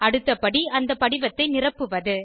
அடுத்த படி அந்த படிவத்தை நிரப்புவது